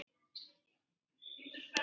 Kann að taka sig til.